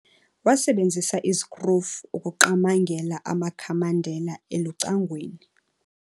Wasebenzisa izikrufu ukuqamangela amakhamandela elucangweni.